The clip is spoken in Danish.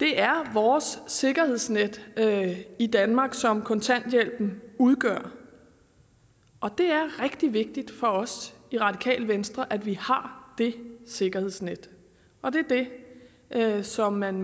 det er vores sikkerhedsnet i danmark som kontanthjælpen udgør og det er rigtig vigtigt for os i radikale venstre at vi har det sikkerhedsnet det er det som man